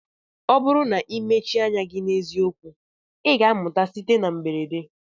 Ọ bụrụ na ị mechie anya gị na eziokwu, ị ga-amụta site na mberede.